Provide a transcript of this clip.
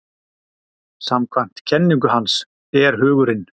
samkvæmt kenningu hans er hugurinn